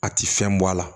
A ti fɛn bɔ a la